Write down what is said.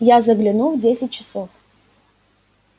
я загляну в десять часов